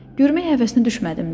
Görmək həvəsinə düşmədim də.